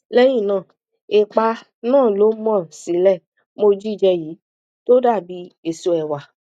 lẹyìn náà èépá náà lọ mo sì lè mọ jíjẹ yìí tó dàbí èso ẹwà